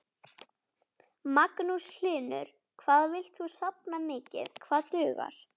Magnús Hlynur: Hvað villt þú safna mikið, hvað dugar?